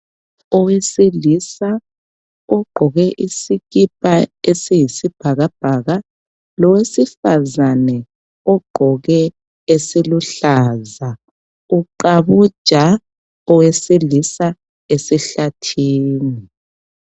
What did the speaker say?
Owesilisa ugqoke isikipa esiyisibhakabhaka lowesifazane ogqoke esiluhlaza uqabuja owesilisa esihlathini.